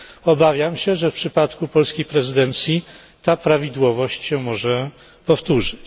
Obawiam się, że w przypadku polskiej prezydencji ta prawidłowość może się powtórzyć.